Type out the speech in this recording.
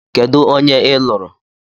Kedụ onye ị lụrụ?